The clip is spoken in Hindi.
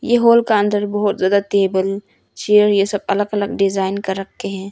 ए हॉल के अंदर बहुत ज्यादा टेबल चेयर ये सब अलग अलग डिजाइन का रखे हैं।